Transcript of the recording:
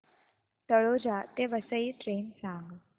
तळोजा ते वसई ट्रेन सांग